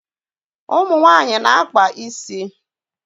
Ụmụ nwaanyị na-akpa isi